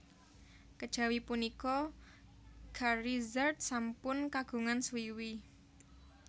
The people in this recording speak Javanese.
Kejawi punika Charizard sampun kagungan swiwi